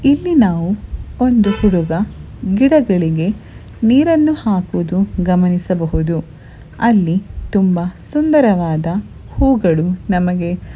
ಇಲ್ಲಿ ನಾವು ಒಂದು ಹುಡುಗ ಗಿಡಗಳಿಗೆ ನೀರನ್ನು ಹಾಕುವುದು ಗಮನಿಸಬಹುದು ಅಲ್ಲಿ ತುಂಬಾ ಸುಂದರವಾದ ಹೂವುಗಳು ನಮಗೆ.--